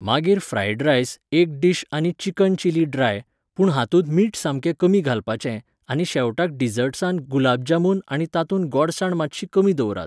मागीर fried rice एक dish आनी चिकन चिली ड्राय, पूण हातूंत मीठ सामकें कमी घालपाचें आनी शेवटाक डिजर्टसान गुलाब जामून आनी तातूंत गोडसाण मातशी कमी दवरात.